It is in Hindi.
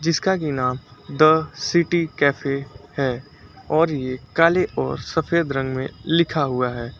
इसका की नाम द सिटी कैफे है और ये काले और सफेद रंग में लिखा हुआ है।